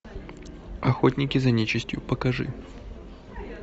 охотники за нечистью покажи